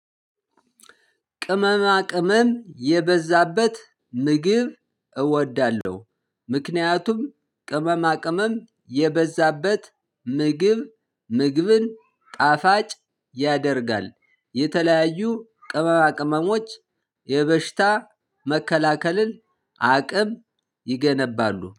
ቅመማ ቅመም የበዛበት ምግብ እወዳለሁ። ምክንያቱም ቅመማ ቅመም የበዛበት ምግብ ምግብን ጣፋጭ ያደርጋል። የተለያዩ ቅመማ ቅመሞች የበሽታ መከላከልን አቅም ይገነባሉ